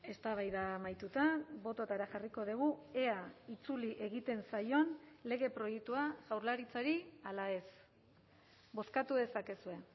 eztabaida amaituta bototara jarriko dugu ea itzuli egiten zaion lege proiektua jaurlaritzari ala ez bozkatu dezakezue